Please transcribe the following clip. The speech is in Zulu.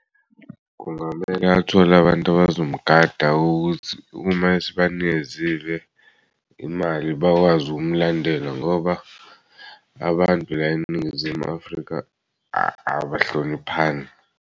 Kungamele athole abantu abazomugada ukuthi uma esebanikezile imali bakwazi ukumlandela ngoba abantu la eNingizimu Afrika abahloniphani.